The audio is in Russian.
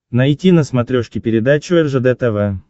найти на смотрешке передачу ржд тв